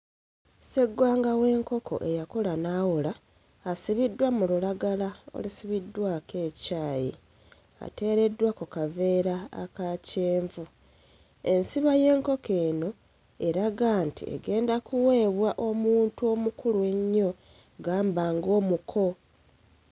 Sseggwanga w'enkoko eyakula n'awola asibiddwa mu lulagala olusibiddwako ekyayi, ateereddwa ku kaveera aka kyenvu, ensiba y'enkoko eno eraga nti egenda kuweebwa omuntu omukulu ennyo gamba ng'omuko.